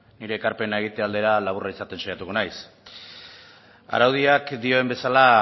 nire ekarpena egite aldera laburra izaten saiatuko naiz araudiak dioen bezala